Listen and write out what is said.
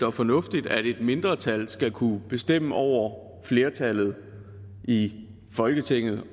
og fornuftigt at et mindretal skal kunne bestemme over flertallet i folketinget